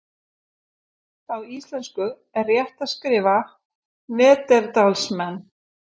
á íslensku er rétt að skrifa neanderdalsmenn